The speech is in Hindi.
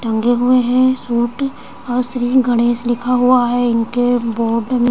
टंगे हुए हैं सूट और श्री गणेश लिखा हुआ है इनके बोर्ड म --